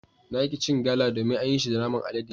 Na ki cin Gala domin an yi shi da naman alade.